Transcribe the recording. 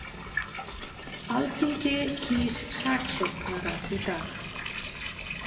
Alþingi kýs saksóknara í dag